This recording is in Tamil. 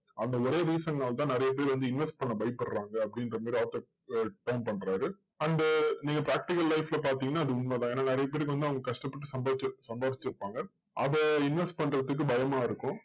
அந்த ஒரே reason னால தான் நிறைய பேர் வந்து invest பண்ண பயப்படறாங்க அப்படின்ற மாதிரி author அஹ் turn பண்றாரு. அந்த நீங்க practical life ல பாத்தீங்கன்னா அது உண்மைதான். ஏன்னா நிறைய பேருக்கு வந்து அவங்க கஷ்டப்பட்டு சம்பாதிச்சிருப்~சம்பாதிச்சிருப்பாங்க. அதை invest பண்றதுக்கு பயமா இருக்கும்.